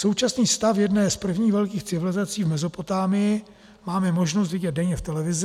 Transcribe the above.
Současný stav jedné z prvních velkých civilizací v Mezopotámii máme možnost vidět denně v televizi.